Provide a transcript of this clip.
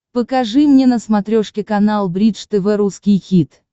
покажи мне на смотрешке канал бридж тв русский хит